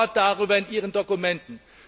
Kein Wort darüber in Ihren Dokumenten!